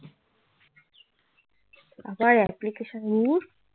আবার application ধুর